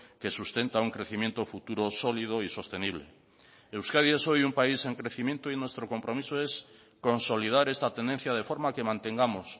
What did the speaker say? que sustenta un crecimiento futuro sólido y sostenible euskadi es hoy un país en crecimiento y nuestro compromiso es consolidar esta tendencia de forma que mantengamos